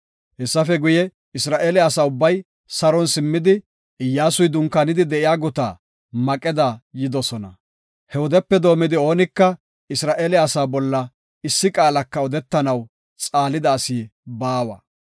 Hessafe guye, Isra7eele asa ubbay saron simmidi, Iyyasuy dunkaanidi de7iya guta Maqeda yidosona. He wodepe doomidi oonika Isra7eele asaa bolla issi qaalaka odetanaw xaalida asi baawa.